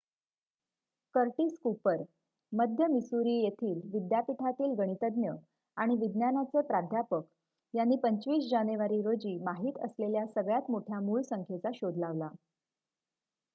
Curtis Cooper मध्य Missouri येथील विद्यापीठातील गणितज्ज्ञ आणि विज्ञानाचे प्राध्यापक यांनी २५ जानेवारी रोजी माहीत असलेल्या सगळ्यात मोठ्या मूळसंख्येचा शोध लावला